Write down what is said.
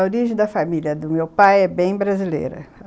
A origem da família do meu pai é bem brasileira.